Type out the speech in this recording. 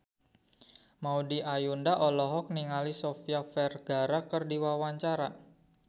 Maudy Ayunda olohok ningali Sofia Vergara keur diwawancara